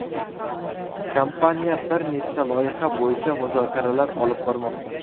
Kompaniya bir nechta loyiha bo‘yicha muzokaralar olib bormoqda.